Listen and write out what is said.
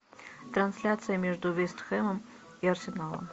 трансляция между вест хэмом и арсеналом